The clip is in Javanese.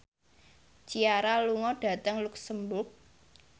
Ciara lunga dhateng luxemburg